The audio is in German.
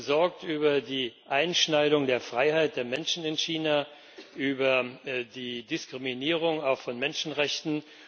Wir sind besorgt über die Beschneidung der Freiheit der Menschen in China, über die Diskriminierung, auch von Menschenrechten.